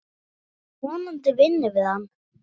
Vonandi vinnum við hann.